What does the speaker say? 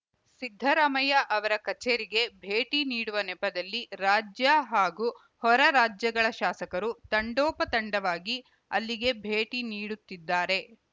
ಸಿದ್ದರಾಮಯ್ಯ ಅವರ ಕಚೇರಿಗೆ ಭೇಟಿ ನೀಡುವ ನೆಪದಲ್ಲಿ ರಾಜ್ಯ ಹಾಗೂ ಹೊರ ರಾಜ್ಯಗಳ ಶಾಸಕರು ತಂಡೋಪತಂಡವಾಗಿ ಅಲ್ಲಿಗೆ ಭೇಟಿ ನೀಡುತ್ತಿದ್ದಾರೆ